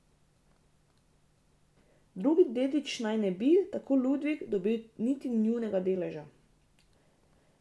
Drugi dediči naj ne bi, tako Ludvik, dobili niti nujnega deleža.